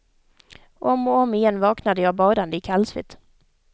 Om och om igen vaknade jag badande i kallsvett.